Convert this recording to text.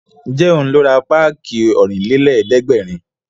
Ǹjẹ́ òun ló ra páàkì Ọ̀rìnlélẹ̀ẹ́dẹ́gbèrin